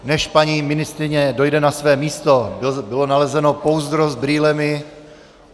Než paní ministryně dojde na své místo, bylo nalezeno pouzdro s brýlemi.